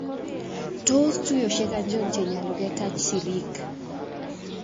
Tos tuyosyek achon chenyalu ketach siriik?